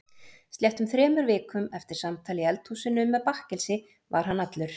Sléttum þremur vikum eftir samtal í eldhúsinu með bakkelsi var hann allur.